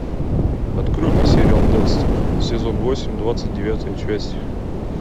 открой мне сериал декстер сезон восемь двадцать девятая часть